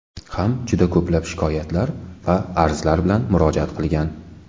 ham juda ko‘plab shikoyat va arzlar bilan murojaat qilgan.